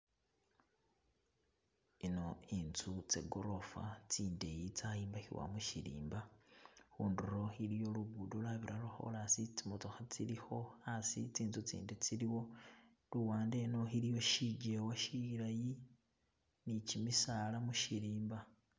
Ino intsu tse gorofa tsindeyi tsayimbakhiwa mushirimba khunduro iliyo lugudo lwabira lo khorasi tsi mootokha tsilikho hasi tsinzu tsindi tsiliwo luwande eno iliwo shijewa shilayi ni gimisaala mushirimba.